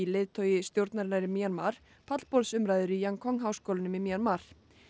leiðtogi stjórnarinnar í Mjanmar pallborðsumræður í háskólanum í Mjanmar